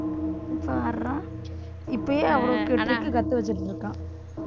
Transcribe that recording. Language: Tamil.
பார்றா இப்பயே அவ்ளோ trick கத்து வச்சுட்டு இருக்கான்